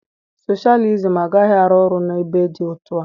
Soshalizim agaghị arụ ọrụ n'ebe dị otú a